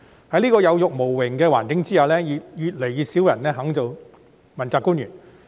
在這種有辱無榮的環境下，越來越少人願意當問責官員。